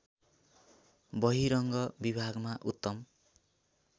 बहिरङ्ग विभागमा उत्तम